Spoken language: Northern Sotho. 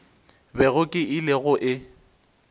bego ke ile go e